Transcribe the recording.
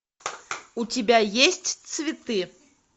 у тебя есть цветы